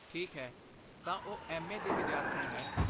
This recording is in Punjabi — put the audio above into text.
ਠੀਕ ਹੈ, ਤਾਂ ਉਹ ਐੱਮ.ਏ. ਦੀ ਵਿਦਿਆਰਥਣ ਹੈ।